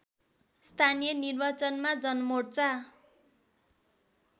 स्थानीय निर्वाचनमा जनमोर्चा